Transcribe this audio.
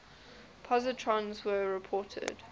positrons were reported